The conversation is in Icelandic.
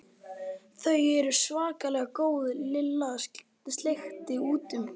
Þau eru svakalega góð Lilla sleikti út um.